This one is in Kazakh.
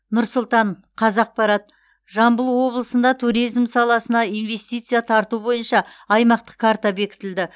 нұр сұлтан қазақпарат жамбыл облысында туризм саласына инвестиция тарту бойынша аймақтық карта бекітілді